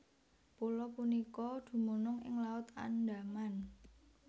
Pulo punika dumunung ing Laut Andaman